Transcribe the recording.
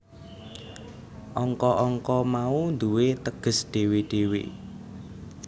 Angka angka mau duwé teges dhewe dhewe